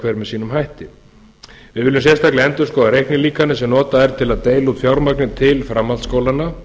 hver með sínum hætti við viljum sérstaklega endurskoða reiknilíkanið sem er notað til að deila út fjármagni til framhaldsskólanna